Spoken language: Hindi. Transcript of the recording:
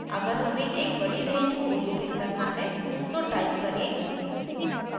अगर हमें एक बड़ी range को उल्लिखित करना है तो टाइप करें: